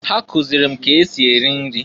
Ha kụzịlị m k'esi eri nri.